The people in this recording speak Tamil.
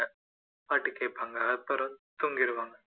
பாட்டு கேட்பாங்க அப்புறம் தூங்கிருவாங்க